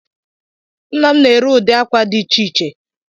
Nnam na-ere udi ákwà dị iche iche